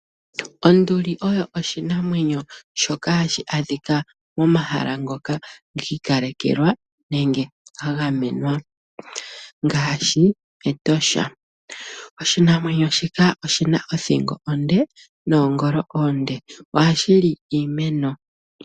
Onduli oyo oshinamwemyo shoka hashi adhika momahala ngoka gi ikalekelwa nenge ga gamenwa ngaashi Etosha. Oshinamwenyo shika oshina othingo onde noongolo oonde. Ohashi li iimeno.